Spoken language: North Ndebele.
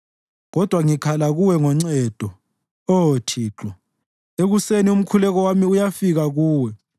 Kodwa ngikhala kuwe ngoncedo, Oh Thixo; ekuseni umkhuleko wami uyafika kuwe.